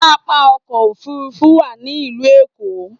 Pápá ọkọ̀ òfuurufú wà ní ìlú Èkó